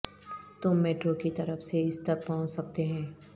تم میٹرو کی طرف سے اس تک پہنچ سکتے ہیں